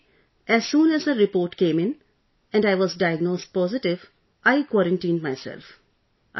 On the second day, as soon as the report came in and I was diagnosed positive, I quarantined myself